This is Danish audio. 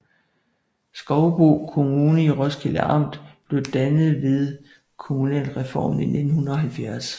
Skovbo Kommune i Roskilde Amt blev dannet ved kommunalreformen i 1970